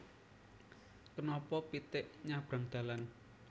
Kenapa pitik nyabrang dalan